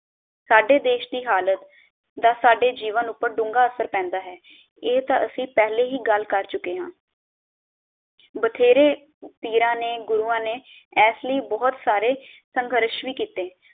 ਸਾਡੇ ਦੇਸ਼ ਦੀ ਹਾਲਤ ਦਾ ਸਾਡੇ ਜੀਵਨ ਉਪਰ ਡੂੰਘਾ ਅਸਰ ਪੈਂਦਾ ਹੈ ਇਹ ਤਾਂ ਅਸੀਂ ਪਹਿਲੇ ਹੀ ਗੱਲ ਕਰ ਚੁਕੇ ਹਾਂ ਬਥੇਰੇ ਪੀਰਾਂ ਨੇ ਗੁਰੂਆਂ ਨੇ ਐਸ ਲਈ ਬਹੁਤ ਸਾਰੇ ਸੰਘਰਸ਼ ਵੀ ਕੀਤੇ।